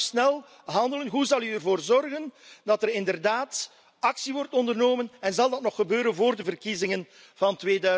Hoe zal u snel handelen? Hoe zal u ervoor zorgen dat er inderdaad actie wordt ondernomen en zal dat nog gebeuren voor de verkiezingen van